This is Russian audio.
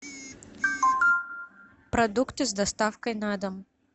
продукты с доставкой на дом